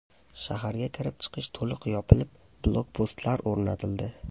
Shaharga kirib-chiqish to‘liq yopilib, blokpostlar o‘rnatildi.